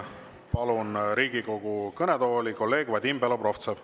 Palun Riigikogu kõnetooli kolleeg Vadim Belobrovtsevi.